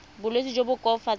ka bolwetsi jo bo koafatsang